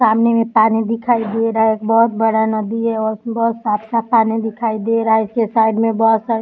सामने में पानी दिखाई दे रहा है। एक बहोत बड़ा नदी है और बहोत साफ़-साफ़ पानी दिखाई दे रहा है इसके साइड में बहोत सारे --